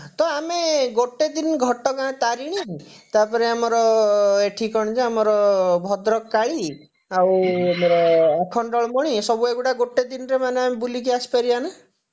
ତ ଆମେ ଆଁ ଗୋଟେ ଦିନ ଘଟଗାଁ ତାରିଣୀ ତାପରେ ଆମର ଏଠି କଣ ଯେ ଆମର ଭଦ୍ରକ କାଳୀ ଆଉ ଆମର ଆଖଣ୍ଡଳମଣି ଏସବୁ ଏଇଗୁଡା ଗୋଟେ ଦିନରେ ମାନେ ବୁଲିକି ଆସିପାରିବା ନା